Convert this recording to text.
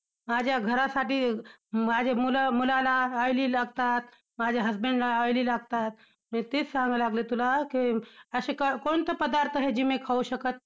माझ्या घरासाठी अं माझी मुलं मुलाला oily लागतात. माझ्या husband ला oily लागतात, तेच सांगू लागले तुला! कि असे कोणते पदार्थ आहे जी मी खाऊ शकते?